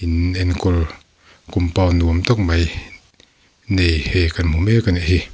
enkawl compund nuam tak mai nei hei kan hmu mek a ni.